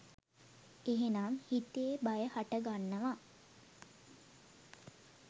එහෙනම් හිතේ බය හටගන්නවා